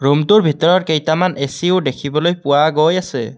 ৰূমটোৰ ভিতৰত কেইটামান এ_চি ও দেখিবলৈ পোৱা গৈ আছে।